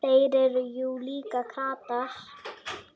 Þeir eru jú líka kratar.